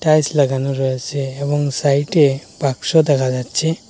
Tiles লাগানো রয়েসে এবং সাইটে বাক্স দেখা যাচ্ছে।